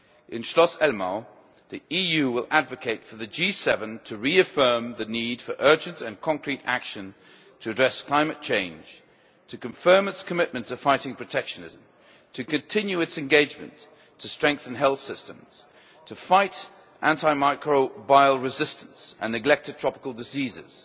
In Schloss Elmau, the EU will advocate for the G7 to reaffirm the need for urgent and concrete action to address climate change, to confirm its commitment to fighting protectionism, to continue its engagement to strengthen health systems, to fight antimicrobial resistance and neglected tropical diseases,